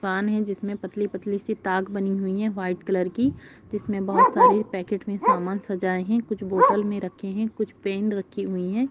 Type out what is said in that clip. पानी जिसने पतली पतली सी ताग बनी हुई है । व्हाइट कलर की । जिसमें बहोत सारे पैकेट में समान सजा कुछ बोतल में रखे हैं कुछ पैन रखी हुई है ।